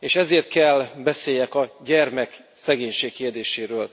És ezért kell beszéljek a gyermekszegénység kérdéséről.